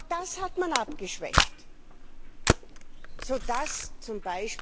Auch das hat man abgeschwächt, so dass z.